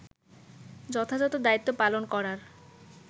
যথাযথ দায়িত্ব পালন করার